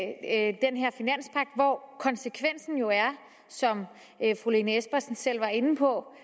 hvoraf konsekvensen jo er som fru lene espersen selv var inde på